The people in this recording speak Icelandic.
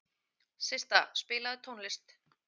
Systa, spilaðu tónlist.